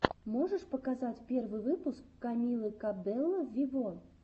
можешь показать первый выпуск камилы кабелло виво